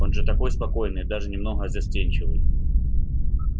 он же такой спокойный и даже немного застенчивый